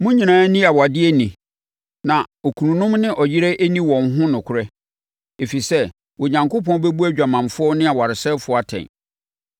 Mo nyinaa nni awadeɛ ni, na okununom ne ɔyerenom nni wɔn ho nokorɛ, ɛfiri sɛ Onyankopɔn bɛbu adwamanfoɔ ne awaresɛefoɔ atɛn.